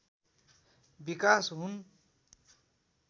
विकास हुन